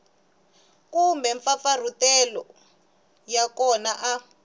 kumbe mampfampfarhutelo ya kona a